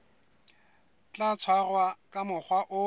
tla tshwarwa ka mokgwa o